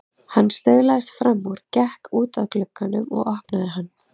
Hann staulaðist fram úr, gekk út að glugganum og opnaði hann.